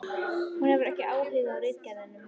Hún hefur ekki áhuga á ritgerðum.